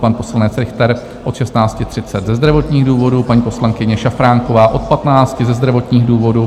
pan poslanec Richter od 16.30 ze zdravotních důvodů; paní poslankyně Šafránková - od 15 ze zdravotních důvodů;